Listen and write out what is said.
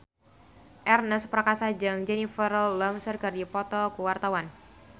Ernest Prakasa jeung Jennifer Lawrence keur dipoto ku wartawan